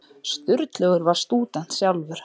Sturlaugur var stúdent sjálfur.